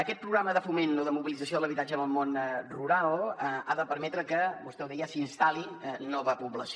aquest programa de foment o de mobilització de l’habitatge en el món rural ha de permetre que vostè ho deia s’hi instal·li nova població